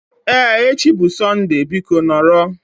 Ee, echi bụ Sọnde biko nọrọ